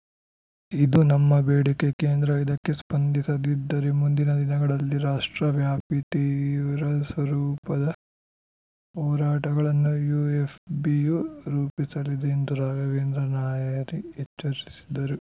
ಇದು ನಮ್ಮ ಬೇಡಿಕೆ ಕೇಂದ್ರ ಇದಕ್ಕೆ ಸ್ಪಂದಿಸದಿದ್ದರೆ ಮುಂದಿನ ದಿನಗಳಲ್ಲಿ ರಾಷ್ಟ್ರವ್ಯಾಪಿ ತೀವ್ರ ಸ್ವರೂಪದ ಹೋರಾಟಗಳನ್ನು ಯುಎಫ್‌ಬಿಯು ರೂಪಿಸಲಿದೆ ಎಂದು ರಾಘವೇಂದ್ರ ನಾಯರಿ ಎಚ್ಚರಿಸಿದರು